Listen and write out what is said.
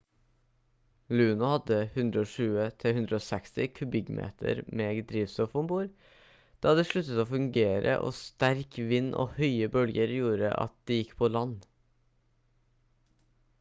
luno hadde 120-160 kubikkmeter med drivstoff om bord da det sluttet å fungere og sterk vind og høye bølger gjorde at det gikk på land